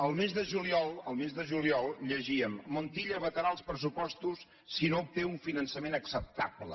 el mes de juliol llegíem montilla vetarà els pressupostos si no obté un finançament acceptable